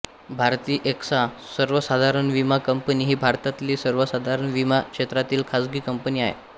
Bharti AXA सर्वसाधारण विमा company ही भारतातली सर्वसाधारण विमा क्षेत्रातील खाजगी कंपनी आहे